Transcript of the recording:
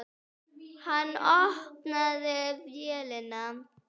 Hann opnaði vélina.